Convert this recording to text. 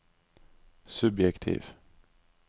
subjektiv